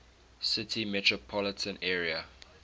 city metropolitan area